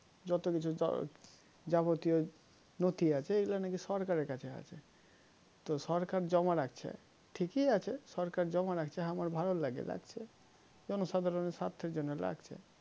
যতকিছু হম যাবতীয় নথি আছে এগুলো নাকি সরকারের কাছে আছে তো সরকার জমা রাখছে ঠিকই আছে সরকার জমা রাখছে হামার ভালোর লেগে রাখছে জনসাধারণের স্বার্থে লেগে রাখছে